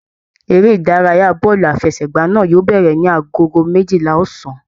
Eré ìdárayá bọọlu àfẹ́sẹ̀gbà náà yóò bẹrẹ ní agogo méjìlá ọ̀sán.